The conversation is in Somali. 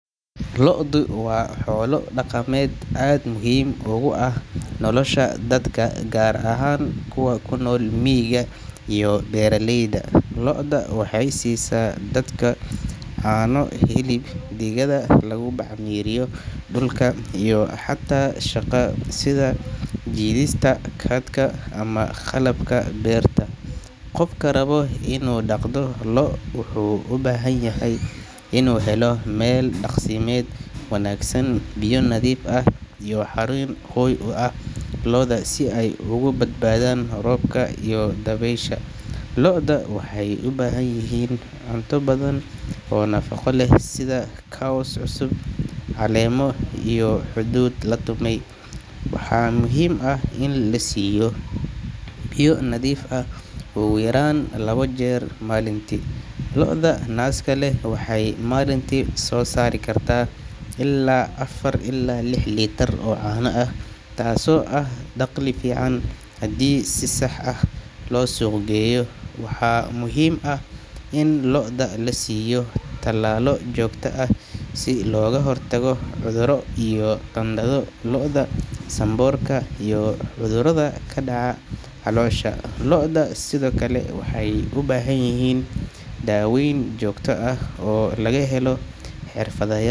Lo'du waa xoolo dhaqameed aad muhiim ugu ah nolosha dadka, gaar ahaan kuwa ku nool miyiga iyo beeraleyda. Lo’da waxay siisaa dadka caano, hilib, digada lagu bacrimiyo dhulka, iyo xataa shaqo sida jiidista cart-ga ama qalabka beerta. Qofka raba inuu dhaqdo lo’ wuxuu u baahan yahay inuu helo meel daaqsimeed wanaagsan, biyo nadiif ah iyo xarun hoy u ah lo’da si ay uga badbaadaan roobka iyo dabaysha. Lo’da waxay u baahan yihiin cunto badan oo nafaqo leh sida caws cusub, caleemo, iyo hadhuudh la tumay. Waxaa muhiim ah in la siiyo biyo nadiif ah ugu yaraan laba jeer maalintii. Lo’ta naaska leh waxay maalintii soo saari kartaa ilaa afar ilaa lix litir oo caano ah, taas oo ah dakhli fiican haddii si sax ah loo suuq geeyo. Waxaa muhiim ah in lo’da la siiyo tallaalo joogto ah si looga hortago cudurro sida qandhada lo’da, sanboorka, iyo cudurrada ku dhaca caloosha. Lo’da sidoo kale waxay u baahan yihiin daaweyn joogto ah oo laga helo xirfadlayaal.